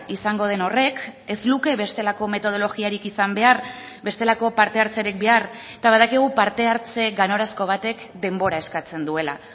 izango den horrek ez luke bestelako metodologiarik izan behar bestelako parte hartzerik behar eta badakigu parte hartze ganorazko batek denbora eskatzen duela